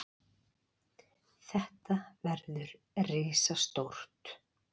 Þetta verður risastórt.